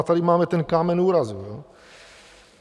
A tady máme ten kámen úrazu.